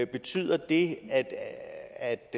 betyder det at